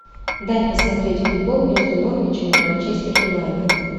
дай посмотреть футбол между норвичем и манчестер юнайтед